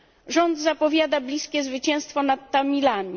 Rząd zapowiada bliskie zwycięstwo nad Tamilami.